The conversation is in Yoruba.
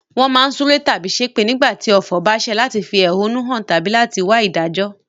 Won má n súre tábí sépè nígbàtí ọ̀fọ̀ ba sẹ̀ láti fi ẹ̀húnú han tábí láti wa ìdájó